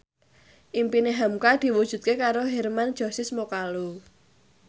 impine hamka diwujudke karo Hermann Josis Mokalu